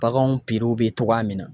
Baganw bɛ togoya min na